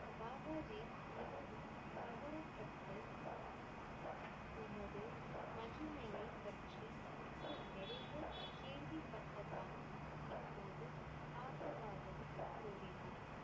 பாபாஜி மிகவும் கவரப்பட்டு உமது மகிமையை பற்றி முன்பு நிறைய கேள்விப்பட்டதாகவும் இப்போது பார்த்ததாகவும் கூறினார்.